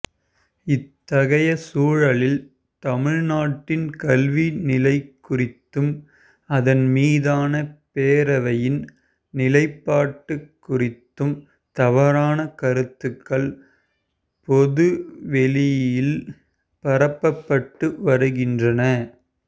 இத்தகைய சூழலில் தமிழ்நாட்டின் கல்வி நிலைகுறித்தும் அதன்மீதான பேரவையின் நிலைப்பாடு குறித்தும் தவறான கருத்துகள் பொது வெளியில் பரப்பப்பட்டு வருகின்றன